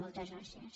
moltes gràcies